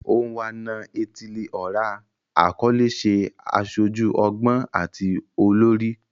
Onwa-na-etili-ora akọle ṣe aṣoju ọgbọn ati olori